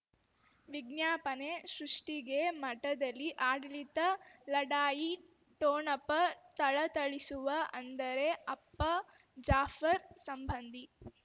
ವಿಜ್ಞಾಪನೆ ಸೃಷ್ಟಿಗೆ ಮಠದಲ್ಲಿ ಆಡಳಿತ ಲಢಾಯಿ ಠೊಣಪ ಥಳಥಳಿಸುವ ಅಂದರೆ ಅಪ್ಪ ಜಾಫರ್ ಸಂಬಂಧಿ